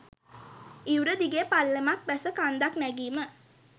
ඉවුර දිගේ පල්ලමක් බැස කන්දක් නැගීම